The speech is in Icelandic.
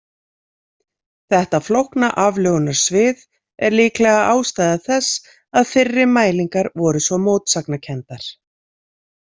Þetta flókna aflögunarsvið er líklega ástæða þess að fyrri mælingar voru svo mótsagnakenndar.